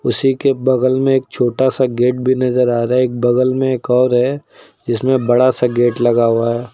उसी के बगल में एक छोटा सा गेट भी नजर आ रहा है एक बगल में एक और है जिसमें बड़ा सा गेट लगा हुआ है।